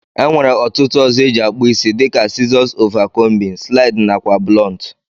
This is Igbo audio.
Enwere otụtu ọzọ eji akpụ isi dika sizos ova combin, slid nakwa blọntu.